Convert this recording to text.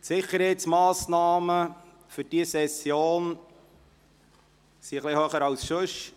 Die Sicherheitsmassnahmen sind für diese Session etwas strenger als sonst.